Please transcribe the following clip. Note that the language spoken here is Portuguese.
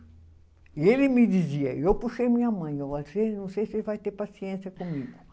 E ele me dizia, eu puxei minha mãe, não sei se você vai ter paciência comigo.